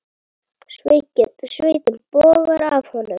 Svitinn bogar af honum.